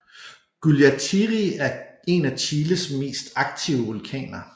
Guallatiri er en af Chiles mest aktive vulkaner